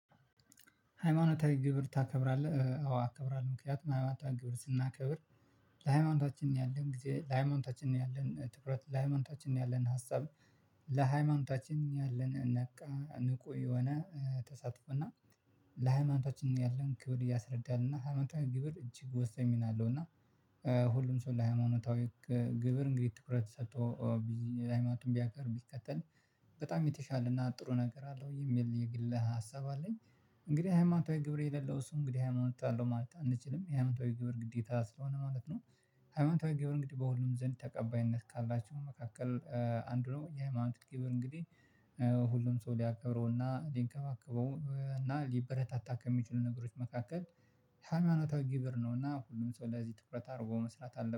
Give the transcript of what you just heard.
ሃይማኖታዊ ግብር ታከብራለህ? አዎ አከብራለሁ ምክንያቱም ሃይማኖታዊ ግብር ስናከብር ለሃይማኖታችን ያለን ጊዜ ለሃይማኖታችን ነው። ያለን ትኩረት ለሃይማኖታችን ያለን ሀሳብ። ለሃይማኖታችን ያለን ነቃ ንቁ የሆነ ተሳትፎና ለሃይማኖታችን ያለን ክብር ያስረዳናልና ሃይማኖታዊ ግብር እጅግ ወሳኝ ሚና አለው። እና ሁሉም ሰው ለሃይማኖታዊ ግብር እንግዲህ ትኩረት ሰጥቶ ሃይማኖቱን ቢያከብር ቢከተል በጣም የተሻለ እና ጥሩ ነገር አለው የሚል የግል ሀሳብ አለኝ። እንግዲህ ሃይማኖታዊ ግብር የሌለው እሱ እንግዲህ ሃይማኖት አለው ማለት አንችልም የሃይማኖተዊ ግብር ግዴታ ስለሆነ ማለት ነው። ሃይማኖተዊ ግብር እንግዲህ በሁሉም ዘንድ ተቀባይነት ካላችሁ መካከል አንድ ነው የሃይማኖት እንግዲህ ሁሉም ሰው ሊያከብረውና ሊንከባከበውና ሊበረታታ ከሚችሉ ነገሮች መካከል ሃምያኖታዊ ግብር ነው። ሁሉም ሰው ለዚህ ትኩረት አድርጎ መስራት አለበት